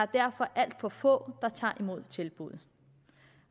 derfor alt for få der tager imod tilbuddet